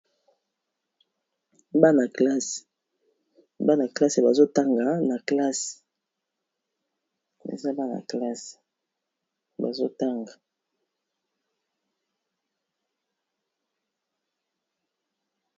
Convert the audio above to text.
Bana classe bazo tanga na classe.